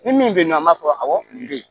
Ni min bɛ yen nɔ an b'a fɔ awɔ kun bɛ yen